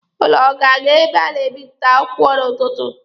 Ụnụ ọ ga-aga ebe a na-ebịpụta akwụkwọ n'ụtụtụ?